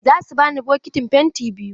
Za su bani bokitin penti biyu.